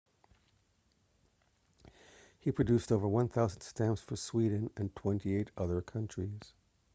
he produced over 1,000 stamps for sweden and 28 other countries